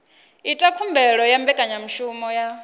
ita khumbelo ya mbekanyamushumo ya